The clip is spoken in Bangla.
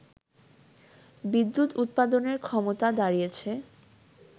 বিদ্যুৎ উৎপাদনের ক্ষমতা দাড়িয়েছে